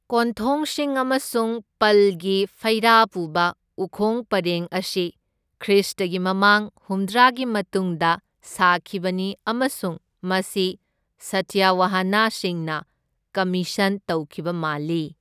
ꯀꯣꯟꯊꯣꯡꯁꯤꯡ ꯑꯃꯁꯨꯡ ꯄꯜꯒꯤ ꯐꯩꯔꯥ ꯄꯨꯕ ꯎꯈꯣꯡ ꯄꯔꯦꯡ ꯑꯁꯤ ꯈ꯭ꯔꯤꯁꯇꯒꯤ ꯃꯃꯥꯡ ꯍꯨꯝꯗ꯭ꯔꯥꯒꯤ ꯃꯇꯨꯡꯗ ꯁꯥꯈꯤꯕꯅꯤ, ꯑꯃꯁꯨꯡ ꯃꯁꯤ ꯁꯥꯇꯋꯥꯍꯅꯁꯤꯡꯅ ꯀꯝꯃꯤꯁꯟ ꯇꯧꯈꯤꯕ ꯃꯥꯜꯂꯤ꯫